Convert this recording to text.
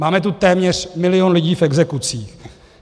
Máme tu téměř milion lidí v exekucích.